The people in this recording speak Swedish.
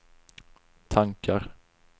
tankar